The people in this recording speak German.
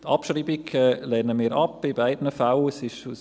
Die Abschreibung lehnen wir in beiden Fällen ab.